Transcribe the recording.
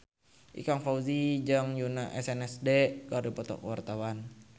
Ikang Fawzi jeung Yoona SNSD keur dipoto ku wartawan